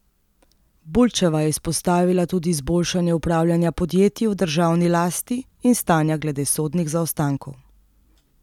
Bulčeva je izpostavila tudi izboljšanje upravljanja podjetij v državni lasti in stanja glede sodnih zaostankov.